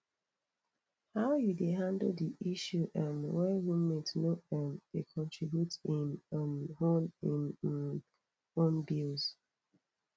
how you dey handle di issue um when roommate no um dey contribute im um own im um own bills